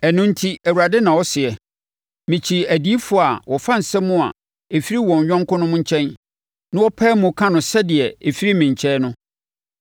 “Ɛno nti,” Awurade na ɔseɛ, “mekyi adiyifoɔ a wɔfa nsɛm a ɛfiri wɔn yɔnkonom nkyɛn, na wɔpae mu ka no sɛdeɛ ɛfiri me nkyɛn no.